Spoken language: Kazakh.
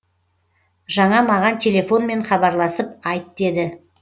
жаңа маған телефонмен хабарласып айт деді